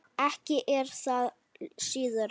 Ekki er það síðra.